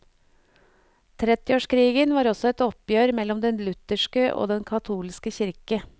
Trettiårskrigen var også et oppgjør mellom den lutherske og den katolske kirke.